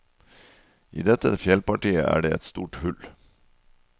I dette fjellpartiet er det et stort hull.